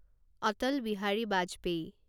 Atal Bihari Vajpayee